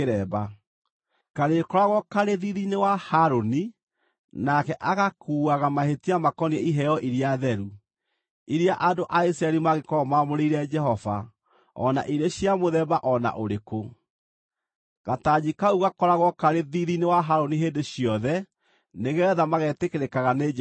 Karĩkoragwo karĩ thiithi-inĩ wa Harũni, nake agakuuaga mahĩtia makoniĩ iheo iria theru, iria andũ a Isiraeli mangĩkorwo mamũrĩire Jehova, o na irĩ cia mũthemba o na ũrĩkũ. Gatanji kau gakoragwo karĩ thiithi-inĩ wa Harũni hĩndĩ ciothe nĩgeetha magetĩkĩrĩkaga nĩ Jehova.